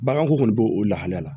Baganko kɔni b'o o lahalaya la